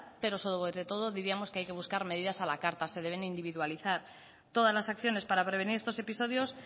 pero sobre todo diríamos que hay que buscar medidas a la carta se deben individualizar todas las acciones para prevenir estos episodios